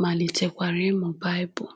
malitekwara ịmụ Baịbụl.